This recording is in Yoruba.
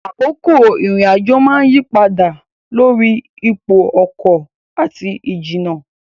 Àkókò ìrìn-àjò máa ń yí padà dá lórí ipò ọkọ̀ àti ìjìnnà.